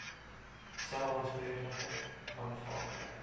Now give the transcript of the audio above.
sou aanspreeklikheid aanvaar